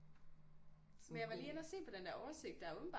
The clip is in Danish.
Men jeg var lige inde og se på den der oversigt der er åbentbart